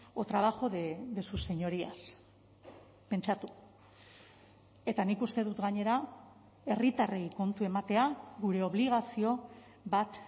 o trabajo de sus señorías pentsatu eta nik uste dut gainera herritarrei kontu ematea gure obligazio bat